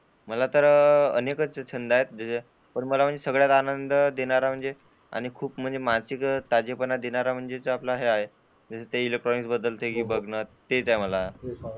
मला तर अनेकच छंद आहेत पण मला म्हणजे सगळ्यात आनंद देणारा म्हणजे आणि खूप म्हणजे मानसिक ताजेपणा देणारा म्हणजे ते आपलं हेच आहे. इलेक्ट्रॉनिक्स बद्दल तेच आहे.